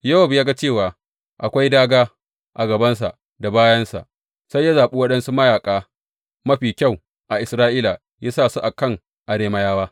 Yowab ya ga cewa akwai dāgā a gabansa da bayansa; sai ya zaɓi waɗansu mayaƙa mafi kyau a Isra’ila ya sa su a kan Arameyawa.